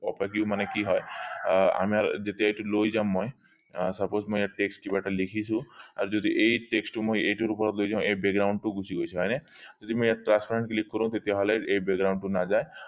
opaque মানে কি হয় আহ আমাৰ যেতিয়া এইটো লৈ যাম মই আহ suppose মই ইয়াত text কিবা এটা লিখিছো আৰু যদি এই text মই এইটোৰ ওপৰত লৈ যাও background টো গুচি গৈছে হয়নে যদি মই ইয়াত কৰো তেতিয়া হলে এই background টো নাযায়